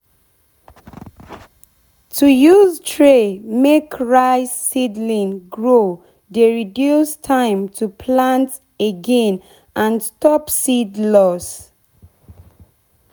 to use tray make rice seedling grow dey reduce time to plant again and stop seed loss.